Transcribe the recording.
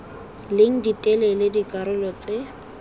leng di telele dikarolo tse